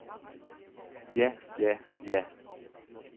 ja ja ja